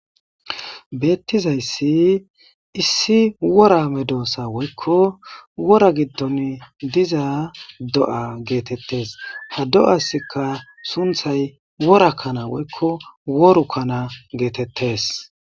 beettizayssi issi wora me doossa woykko wora giddon diza do7a geetettes ha do7askka sunthay worakkana woykko woru kkana geetettes